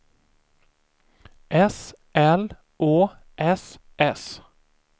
S L Å S S